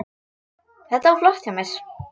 Þetta var flott hjá mér.